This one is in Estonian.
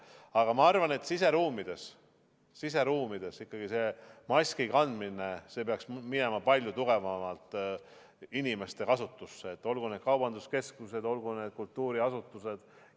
Aga ma arvan, et siseruumides maski kandmine peaks saama palju tugevamalt inimeste harjumuseks, olgu need kaubanduskeskused, olgu need kultuuriasutused.